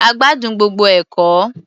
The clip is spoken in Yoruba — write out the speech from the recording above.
A gbádùn gbogbo ẹ̀kọ́.